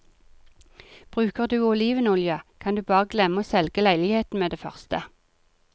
Bruker du olivenolje, kan du bare glemme å selge leiligheten med det første.